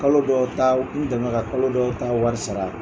Kalo dɔw ta n dɛmɛ ka kalo dɔw ta wari sara.